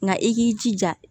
Nka i k'i jija